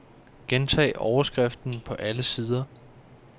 Gentag overskriften på alle sider.